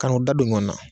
Ka n'u da don ɲɔɔn na